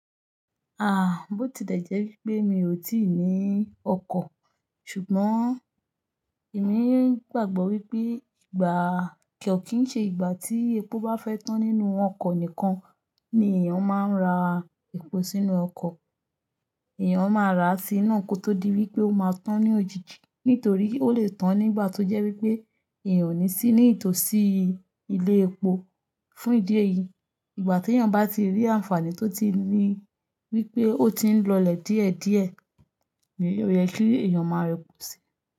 Ah! Bó ti dẹ̀ jẹ́ wípé mi ò tíì ní ọkọ̀, ṣùgbọ́n èmi ń gbàgbọ́ wípé ìgbà kio kìí n ṣe ìgbà tí epo bá fẹ́ tán nínú ọkọ̀ nìkan ni èèyàn máa ń ra epo sínú ọkọ̀. Ẹ̀yàn máa rà á sí naa kó tó di wípé ó máa tán ní òjijì. Nítorí ó lè tán nígbà tó jẹ́ wípé èèyàn ò ní sí ní ìtòsí ilé epo. Fún ìdí èyí, ìgbà tí èèyàn bá ti rí àǹfààní tó tí ni wípé ó ti ń lọlẹ̀ díẹ̀díẹ̀, mo o yẹ kí èèyàn máa repo sí i.